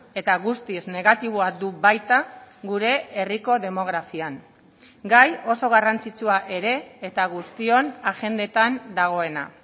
eta guztiz negatiboa du baita gure herriko demografian gai oso garrantzitsua ere eta guztion agendetan dagoena